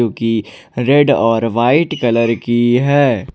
जोकि रेड और white colour की है।